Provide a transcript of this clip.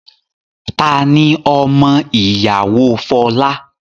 Tani ọmọ ìyàwó Folá?